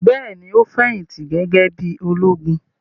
Bẹ́ẹ̀ ni, ó fẹ̀yìntì gẹ́gẹ́ bí i ológun.